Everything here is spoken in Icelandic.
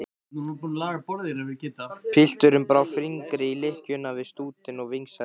Pilturinn brá fingri í lykkjuna við stútinn og vingsaði henni.